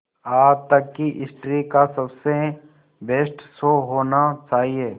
आज तक की हिस्ट्री का सबसे बेस्ट शो होना चाहिए